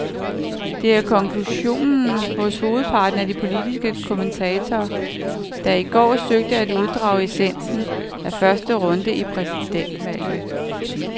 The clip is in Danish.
Det er konklusionen hos hovedparten af de politiske kommentatorer, der i går søgte at uddrage essensen af første runde i præsidentvalget.